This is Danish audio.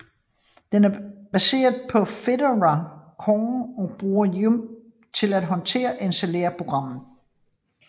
Den er baseret på Fedora Core og bruger YUM til at håndtere og installere programmer